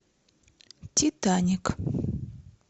титаник